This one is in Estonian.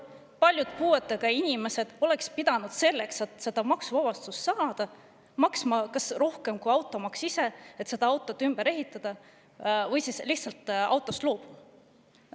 Paljud puuetega inimesed oleksid pidanud selleks, et seda maksuvabastust saada, maksma rohkem kui automaks ise, et auto ümber ehitada, või siis lihtsalt autost loobuma.